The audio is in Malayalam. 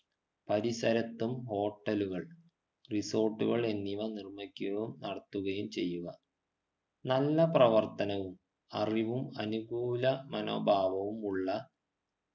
പരിസരത്തും hotel കൾ resort കൾ എന്നിവ നിർമ്മിക്കുകയും നടത്തുകയും ചെയ്യുക നല്ല പ്രവർത്തനവും അറിവും അനുകൂല മനോഭാവമുള്ള